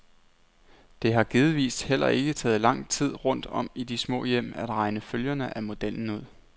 Det har givetvis heller ikke taget lang tid rundt om i de små hjem at regne følgerne af modellen ud.